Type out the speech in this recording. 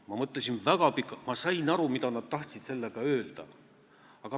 Ma mõtlesin väga pikalt ja sain aru, mida nad tahtsid sellega öelda.